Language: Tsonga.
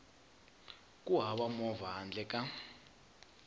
ku hava movha handle ka